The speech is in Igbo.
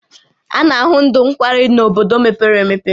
A na ahụ ndụ nkwari n'bodo mepere emepe